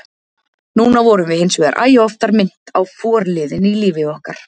Núna vorum við hinsvegar æ oftar minnt á forliðinn í lífi okkar.